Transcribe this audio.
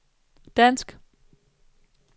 dansk